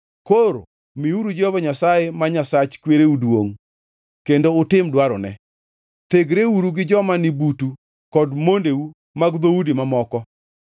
Koro miuru Jehova Nyasaye, ma Nyasach kwereu duongʼ, kendo utim dwarone. Thegreuru gi joma ni butu kod mondeu mag dhoudi mamoko.”